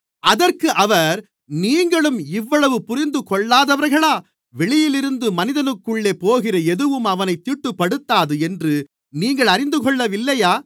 அதற்கு அவர் நீங்களும் இவ்வளவு புரிந்துகொள்ளாதவர்களா வெளியிலிருந்து மனிதனுக்குள்ளே போகிற எதுவும் அவனைத் தீட்டுப்படுத்தாது என்று நீங்கள் அறிந்துகொள்ளவில்லையா